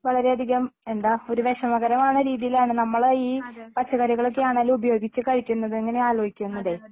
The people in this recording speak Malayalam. വളരെയധികം എന്താ ഒരു വിഷമകരമാകുന്ന രീതിയിലാണ് നമ്മള് ഈ പച്ചക്കറികളൊക്കെയാണല്ലോ ഉപയോഗിച്ച് കഴിക്കുന്നത് ഇങ്ങനെ ആലോചിക്കുന്നതേ